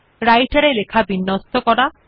এই টিউটোরিয়াল আমরা নিম্নলিখিত শিখতে